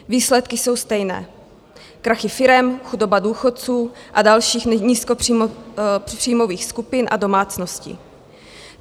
Výsledky jsou stejné - krachy firem, chudoba důchodců a dalších nízkopříjmových skupin a domácností.